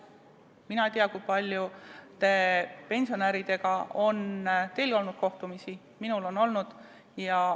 Mina ei tea, kui paljude pensionäridega on teil olnud kohtumisi, minul on neid olnud.